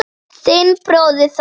Þinn bróðir Þór.